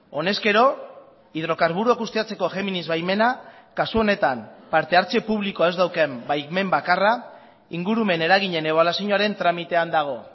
honezkero hidrokarburoak ustiatzeko géminis baimena kasu honetan parte hartze publikoa ez daukan baimen bakarra ingurumen eraginen ebaluazioaren tramitean dago